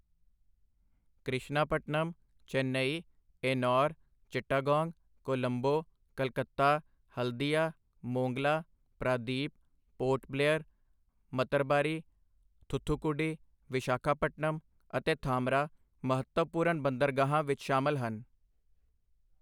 ਕ੍ਰਿਸ਼ਨਾਪਟਨਮ, ਚੇਨਈ, ਏਨੌਰ, ਚਿਟਾਗਾਂਗ, ਕੋਲੰਬੋ, ਕਲਕੱਤਾ ਹਲਦੀਆ, ਮੋਂਗਲਾ, ਪ੍ਰਾਦੀਪ, ਪੋਰਟ ਬਲੇਅਰ, ਮਤਰਬਾਰੀ, ਥੂਥੁਕੁਡੀ, ਵਿਸ਼ਾਖਾਪਟਨਮ ਅਤੇ ਧਾਮਰਾ ਮਹੱਤਵਪੂਰਨ ਬੰਦਰਗਾਹਾਂ ਵਿੱਚ ਸ਼ਾਮਲ ਹਨ।